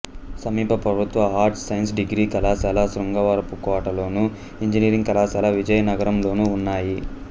సమీప ప్రభుత్వ arts science degree కళాశాల శృంగవరపుకోటలోను ఇంజనీరింగ్ కళాశాల విజయనగరంలోనూ ఉన్నాయి